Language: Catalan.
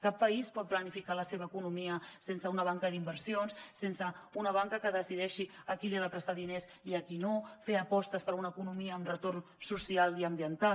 cap país pot planificar la seva economia sense una banca d’inversions sense una banca que decideixi a qui li ha de prestar diners i a qui no fer apostes per a una economia amb retorn social i ambiental